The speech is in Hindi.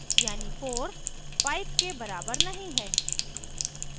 यानी 4 5 के बराबर नहीं है